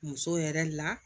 Muso yɛrɛ la